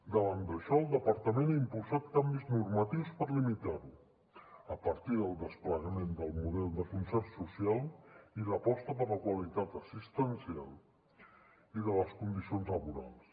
davant d’això el departament ha impulsat canvis normatius per limitar ho a partir del desplegament del model de concert social i l’aposta per la qualitat assistencial i de les condicions laborals